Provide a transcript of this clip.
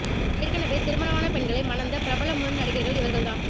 ஏற்கனவே திருமணமான பெண்களை மணந்த பிரபல முன்னணி நடிகர்கள் இவர்கள் தான்